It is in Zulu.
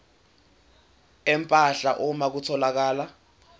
empahla uma kutholakala